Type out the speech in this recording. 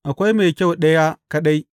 Akwai Mai kyau Ɗaya kaɗai.